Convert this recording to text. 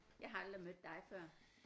Jeg har aldrig mødt dig før